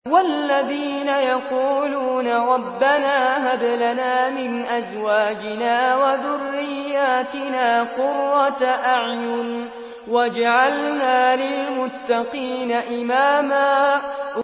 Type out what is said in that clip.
وَالَّذِينَ يَقُولُونَ رَبَّنَا هَبْ لَنَا مِنْ أَزْوَاجِنَا وَذُرِّيَّاتِنَا قُرَّةَ أَعْيُنٍ وَاجْعَلْنَا لِلْمُتَّقِينَ إِمَامًا